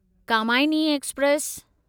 Kamayani express